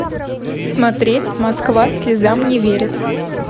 смотреть москва слезам не верит